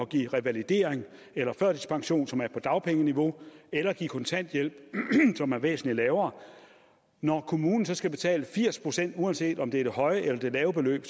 give revalidering eller førtidspension som er på dagpengeniveau eller give kontanthjælp som er væsentlig lavere og når kommunen så skal betale firs pct uanset om det er det høje eller det lave beløb